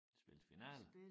Spilles finaler?